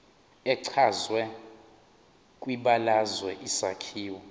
echazwe kwibalazwe isakhiwo